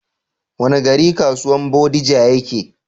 Wani gari kasuwan bodija ya ke?